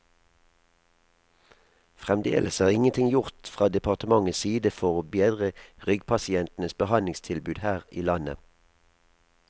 Fremdeles er ingenting gjort fra departementets side for å bedre ryggpasientenes behandlingstilbud her i landet.